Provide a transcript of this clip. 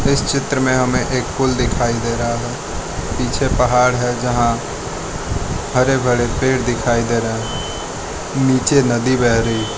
इस चित्र में हमें एक पुल दिखाई दे रहा है पीछे पहाड़ है यहां हरे भरे पेड़ दिखाई दे रहे हैं नीचे नदी बह रही है।